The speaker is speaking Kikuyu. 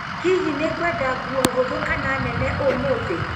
Hihi nĩ ngwenda nguo hũthũ kana nene ũmũthĩ?